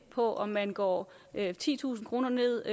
på om man går titusind kroner ned